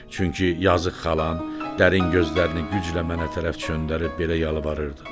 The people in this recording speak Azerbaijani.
Çünki yazıq xalam dərin gözlərini güclə mənə tərəf çöndərib belə yalvarırdı.